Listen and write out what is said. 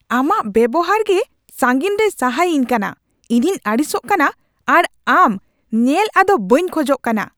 ᱟᱢᱟᱜ ᱵᱮᱣᱦᱟᱨᱜᱮ ᱥᱟᱹᱜᱤᱧ ᱨᱮᱭ ᱥᱟᱦᱟᱭᱤᱧ ᱠᱟᱱᱟ ᱾ᱤᱧᱤᱧ ᱟᱹᱲᱤᱥᱚᱜ ᱠᱟᱱᱟ ᱟᱨ ᱟᱢ ᱧᱮᱞ ᱟᱫᱚ ᱵᱟᱹᱧ ᱠᱷᱚᱡᱚᱜ ᱠᱟᱱᱟ ᱾